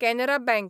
Canara bank